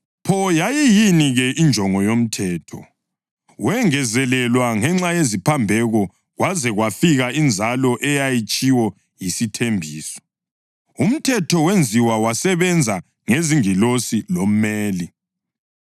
Pho, yayiyini-ke injongo yomthetho? Wengezelelwa ngenxa yeziphambeko kwaze kwafika iNzalo eyayitshiwo yisithembiso. Umthetho wenziwa wasebenza ngezingilosi lomeli.